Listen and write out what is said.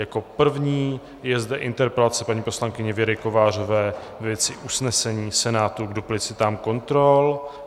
Jako první je zde interpelace paní poslankyně Věry Kovářové ve věci usnesení Senátu k duplicitám kontrol.